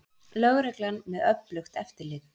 Lögreglan með öflugt eftirlit